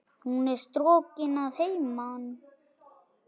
Hún er strokin að heiman.